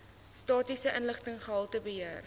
statistiese inligting gehaltebeheer